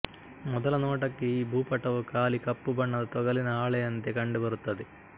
ಮೊದಲ ನೋಟಕ್ಕೆ ಈ ಭೂಪಟವು ಖಾಲಿ ಕಪ್ಪು ಬಣ್ಣದ ತೊಗಲಿನ ಹಾಳೆಯಂತೆ ಕಂಡುಬರುತ್ತದೆ